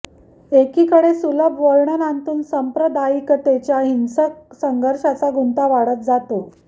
एकीकडे सुलभ वर्णनांतून सांप्रदायिकतेच्या हिंसक संघर्षाचा गुंता वाढत जातो